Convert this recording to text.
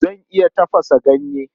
Zan iya tafasa ganye.